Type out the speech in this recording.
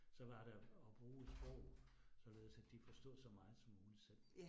Så var det at at bruge et sprog således, at de forstod så meget som muligt selv